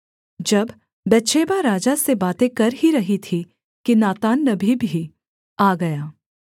जब बतशेबा राजा से बातें कर ही रही थी कि नातान नबी भी आ गया